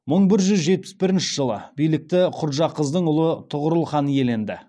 мың бір жүз жетпіс бірінші жылы билікті құрджақыздың ұлы тұғырыл хан иеленді